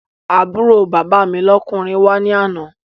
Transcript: Àbúrò bàbá mi lọ́kùnrin wá ní àná